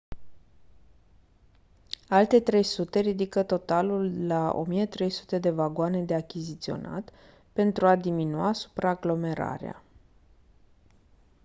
alte 300 ridică totalul la 1300 de vagoane de achiziționat pentru a diminua supraaglomerarea